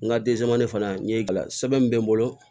N ka fana n ye gila sɛbɛn min bɛ n bolo